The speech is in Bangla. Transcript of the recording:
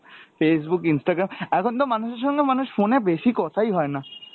Facebook, Instragram। এখন তো মানুষের সঙ্গে মানুষ phone এ বেশি কথায় হয় না।